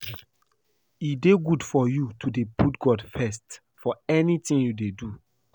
E dey good for you to dey put God first for anything you dey do